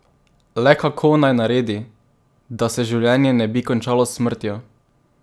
Le kako naj naredi, da se življenje ne bi končalo s smrtjo?